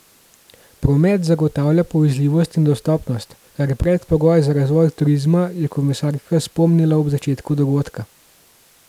Promet zagotavlja povezljivost in dostopnost, kar je predpogoj za razvoj turizma, je komisarka spomnila ob začetku dogodka.